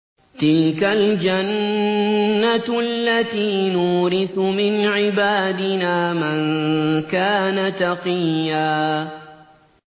تِلْكَ الْجَنَّةُ الَّتِي نُورِثُ مِنْ عِبَادِنَا مَن كَانَ تَقِيًّا